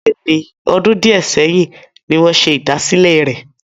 Bẹ́ẹ̀ni, ọdún di ẹ sẹ́yìn ni wọn ṣe ìdásílẹ́ rẹ.